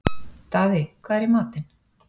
Daði, hvað er í matinn?